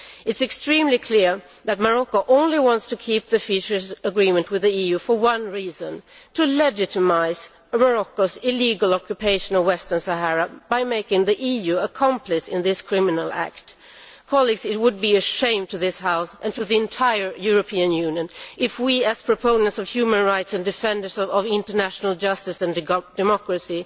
It is extremely clear that Morocco only wants to keep the fisheries agreement with the EU for one reason to legitimise Morocco's illegal occupation of Western Sahara by making the EU an accomplice in this criminal act. It would be shameful to this House and to the entire European Union if we, as a proponent of human rights and defenders of international justice and democracy,